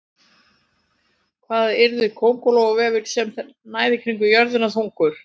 Hvað yrði köngulóarvefur sem næði kringum jörðina þungur?